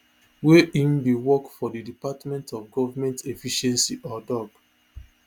wey im bin work for di department of government efficiency or doge